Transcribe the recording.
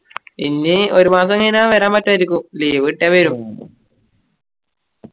ഇനി ഒരു മാസം കഴിഞ്ഞ വരാൻ പറ്റുവായിരിക്കും leave കിട്ടിയ വരും